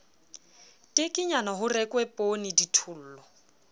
tekenyana ho rekwe poonee dithollo